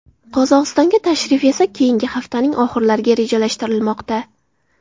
Qozog‘istonga tashrif esa keyingi haftaning oxirlariga rejalashtirilmoqda.